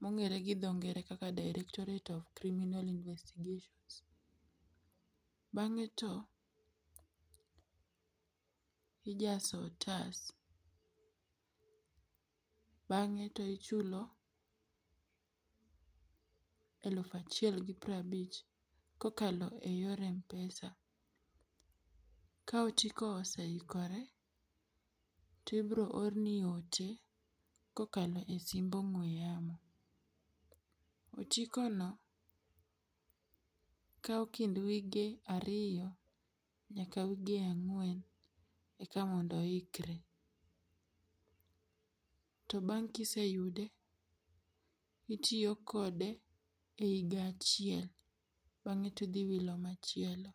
mong'er gi dho ngere kaka Directorate of Criminal Investigations. Bang'e to ijaso otas. Bang'e to ichulo eluf achiel gi prabich kokalo e yor mpesa. Ka otiko oseikore, tibro orni ote kokalo e simb ong'we yamo. Otikono kao kind wige ario nyaka wige ang'wen eka mondo oikre. To bang' kiseyude, itio kode e iga achiel bang'e tidhi wilo machielo.